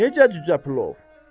Necə cücə plov?